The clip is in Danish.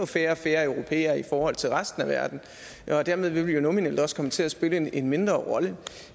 færre og færre europæere i forhold til resten af verden og dermed vil vi nominelt også komme til at spille en en mindre rolle